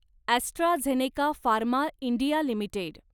AstraZeneca pharma India limited